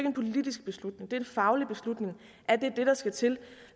en politisk beslutning det er en faglig beslutning at det er det der skal til